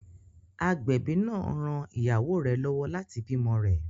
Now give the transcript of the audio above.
Agbẹ̀bí náà ran ìyàwó rẹ lọ́wọ́ láti bímọ rẹ̀.